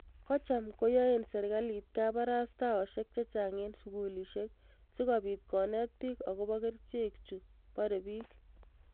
Kochham koyaae serkaliit kabarastaosiek chechaang' eng' sugulisiek sigobiit koneet piik agobo kericheek chu baree piich